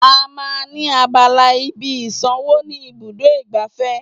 À máa ń ní abala ibi ìsànwó ni ibùdó igbàfẹ́